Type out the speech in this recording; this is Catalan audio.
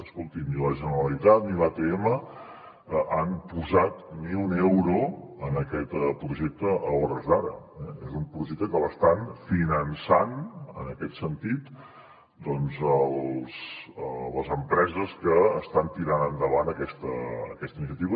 escoltin ni la generalitat ni l’atm han posat ni un euro en aquest projecte a hores d’ara eh és un projecte que l’estan finançant en aquest sentit doncs les empreses que estan tirant endavant aquesta iniciativa